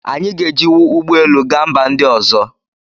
Anyị ga-ejiwu ụgbọ elu gaa mba ndị ọzọ